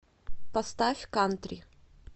поставь кантри